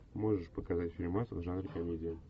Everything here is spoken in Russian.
можешь показать фильмас в жанре комедия